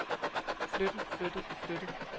flyttet flyttet flyttet